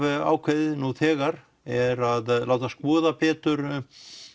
ákveðið nú þegar er að láta skoða betur